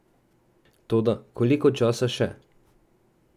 Toda koliko časa še?